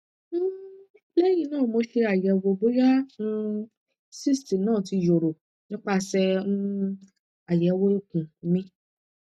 um lehin na mo se ayewo boya um cysts na ti yoro nipase um ayewo ikun mi